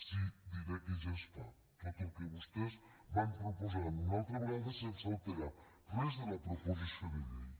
sí diré que ja es fa tot el que vostès van proposant una altra vegada sense alterar res de la proposició de llei